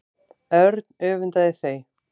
Örn öfundaði þau.